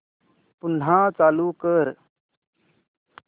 पुन्हा चालू कर